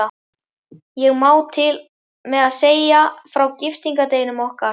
Ég má til með að segja frá giftingardeginum okkar.